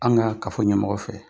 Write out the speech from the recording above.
An ka ka fɔ ɲɛmɔgɔ fɛ